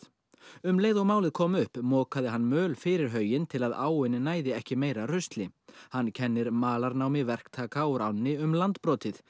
um leið og málið kom upp mokaði hann möl fyrir hauginn til að áin næði ekki meira rusli hann kennir malarnámi verktaka úr ánni um landbrotið